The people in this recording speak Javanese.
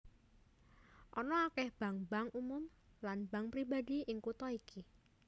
Ana akèh bank bank umum lan bank pribadi ing kutha iki